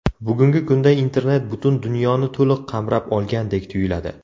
Bugungi kunda internet butun dunyoni to‘liq qamrab olgandek tuyuladi.